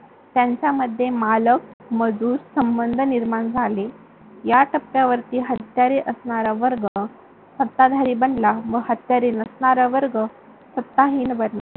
त्यांच्यामध्ये मालक मजूर संबंध निर्माण झाले. या टप्प्यावरती हत्यारे असणारा वर्ग सत्ताधारी बनला व हत्यारे नसणारा वर्ग सत्ताहीन बनला.